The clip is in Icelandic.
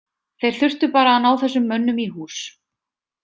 Þeir þurftu bara að ná þessum mönnum í hús.